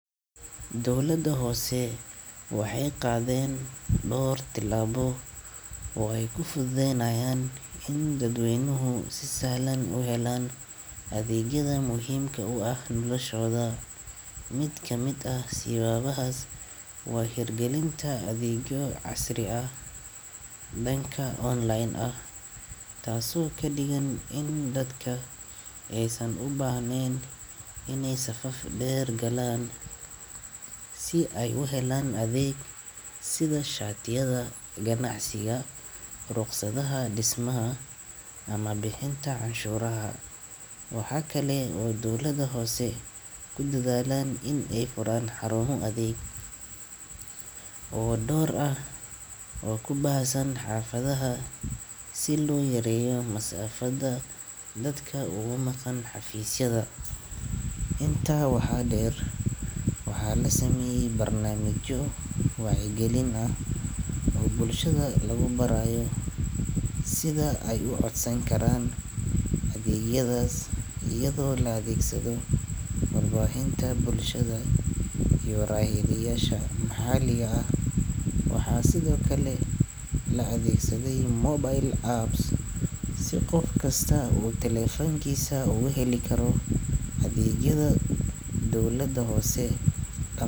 Dowladaha hoose waxay qaadeen dhowr tillaabo oo ay ku fududeynayaan in dadweynuhu si sahlan u helaan adeegyada muhiimka u ah noloshooda. Mid ka mid ah siyaabahaas waa hirgelinta adeegyo casri ah oo dhanka online ah, taasoo ka dhigan in dadka aysan u baahnayn inay safaf dheer galaan si ay u helaan adeeg sida shatiyada ganacsiga, rukhsadaha dhismaha, ama bixinta canshuuraha. Waxaa kale oo dowladaha hoose ku dadaaleen in ay furaan xarumo adeeg oo dhowr ah oo ku baahsan xaafadaha si loo yareeyo masaafada dadka uga maqan xafiisyada. Intaa waxaa dheer, waxaa la sameeyay barnaamijyo wacyigelin ah oo bulshada lagu barayo sida ay u codsan karaan adeegyadaas, iyadoo la adeegsado warbaahinta bulshada iyo raadiyeyaasha maxalliga ah. Waxaa sidoo kale la adeegsaday mobile apps si qof kasta uu taleefankiisa uga heli karo adeegyada dowladda hoose.